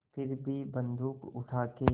फिर भी बन्दूक उठाके